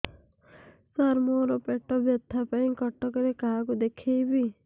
ସାର ମୋ ର ପେଟ ବ୍ୟଥା ପାଇଁ କଟକରେ କାହାକୁ ଦେଖେଇବି